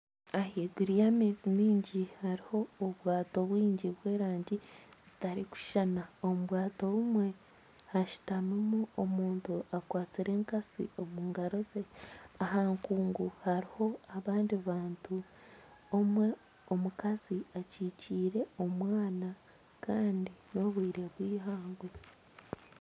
Ahaiguru y’amaizi mingi hariho obwato bwingi bw'erangi zitarikushushana. Omu bwato bumwe hashutamimu omuntu akwatsire enkatsi omu ngaro ze, aha nkungu hariho abandi abantu omwe omukazi akyikyire omwana kandi nobwire bw'eihangwe.